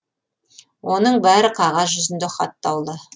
оның бәрі қағаз жүзінде хаттаулы